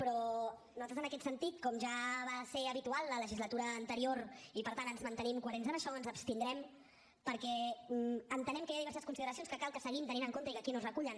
però nosaltres en aquest sentit com ja va ser habitual a la legislatura anterior i per tant ens mantenim coherents en això ens hi abstindrem perquè entenem que hi ha diverses consideracions que cal que seguim tenint en compte i que aquí no es recullen